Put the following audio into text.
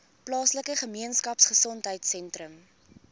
plaaslike gemeenskapgesondheid sentrum